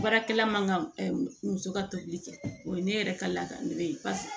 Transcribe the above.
Baarakɛla man ka muso ka tobili kɛ o ye ne yɛrɛ ka laada ye paseke